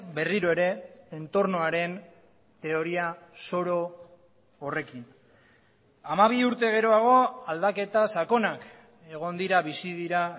berriro ere entornoaren teoria zoro horrekin hamabi urte geroago aldaketa sakonak egon dira bizi dira